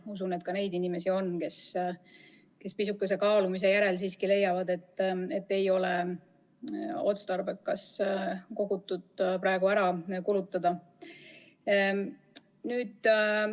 Ma usun, et ka neid inimesi on, kes pisukese kaalumise järel siiski leiavad, et ei ole otstarbekas kogutut praegu ära kulutada.